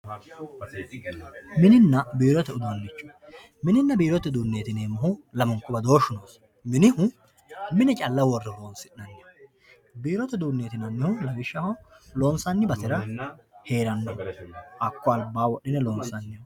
Mininna biirote uduuncho, mininna biirote uduunchoti yineemmohu lamunku badooshu nooho minihu mine calla worre horonsi'nanniho biirote uduuneti yinannihu lawishshaho loonsanni basera heerano hakko albaani wodhine loonsaniho.